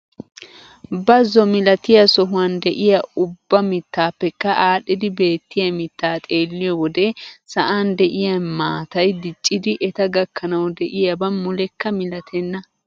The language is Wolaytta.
Bazo milatiyaa sohuwaan de'iyaa ubba mittaapekka aadhidi beettiyaa miittaa xeelliyoo wode sa'an de'iyaa maatay diccidi eta gakkanwu de'iyaaba mulekka milatenna.